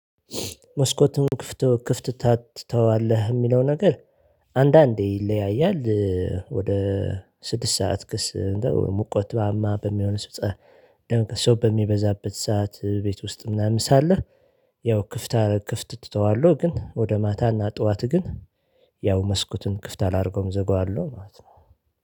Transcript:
መስኮቱን ክፍት ትተወዋለህ እሚለው ነገር አንዳንዴ ይለያያል ወደ ስድስት ሰዓት ሙቀት በሚሆን ሰው በሚበዛበት ሰዓት ቤት ውስጥ ምናምን ሳለ። ያው ክፍት እተወዋለሁ። ግን ወደ ማታና ጠዋት ግን ያው መስኮቱን ክፍት አላደርገውም እዘጋዋለሁ ማለት ነው